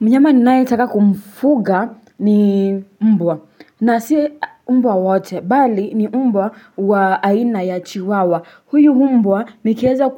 Mnyama ninayetaka kumfuga ni mbwa. Na si mbwa wote bali, ni mbwa wa aina ya chiwawa. Huyu mbwa nikieza